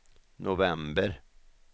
november